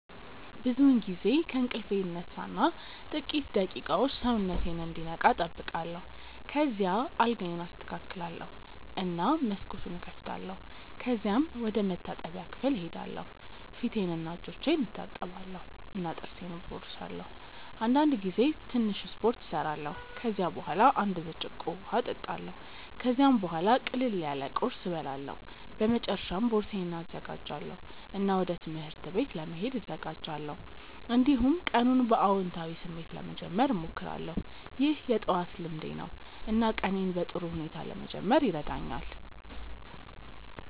ብዙውን ጊዜ ከእንቅልፌ እነሳ እና ጥቂት ደቂቃዎች ሰውነቴን እንዲነቃ እጠብቃለሁ። ከዚያ አልጋዬን አስተካክላለሁ እና መስኮቱን እከፍታለሁ። ከዚያም ወደ መታጠቢያ ክፍል እሄዳለሁ ፊቴንና እጆቼን እታጠባለሁ እና ጥርሴን እቦርሳለሁ። አንዳንድ ጊዜ ትንሽ ስፖርት እሰራለሁ። ከዚያ በኋላ አንድ ብርጭቆ እጠጣለሁ። ከዚያም ቡሃላ ቅለል ያለ ቁርስ እበላለሁ። በመጨረሻ ቦርሳዬን እዘጋጃለሁ እና ወደ ትምህርት ቤት ለመሄድ እዘጋጃለሁ። እንዲሁም ቀኑን በአዎንታዊ ስሜት ለመጀመር እሞክራለሁ። ይህ የጠዋት ልምዴ ነው እና ቀኔን በጥሩ ሁኔታ ለመጀመር ይረዳኛል።